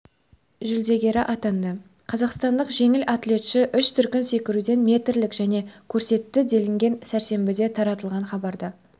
жүлдегері атанды қазақстандық жеңіл атлетші үш дүркін секіруден метрлік нәтиже көрсетті делінген сәрсенбіде таратылған хабарда